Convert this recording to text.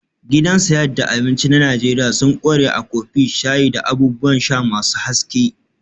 Gidan sayad da abinci na Najeriya sun ƙware a kofi, shayi, da abubuwan sha masu haske